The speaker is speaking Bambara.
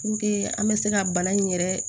Puruke an bɛ se ka bana in yɛrɛ